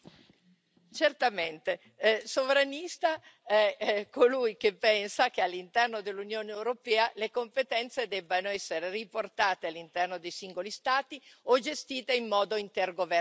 Certamente sovranista è colui che pensa che all'interno dell'Unione europea le competenze debbano essere riportate all'interno dei singoli Stati o gestite in modo intergovernativo.